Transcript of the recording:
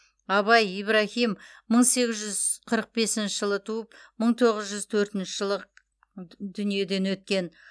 абай ибраһим мың сегіз жүз қырық бесінші жылы туып мың тоғыз жүз төртінші жылы д дүниеден өткен